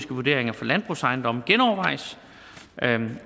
vurderinger for landbrugsejendomme genovervejes